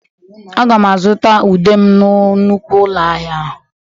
Aga m azụta ude m na nnukwu ụlọ ahịa ahụ.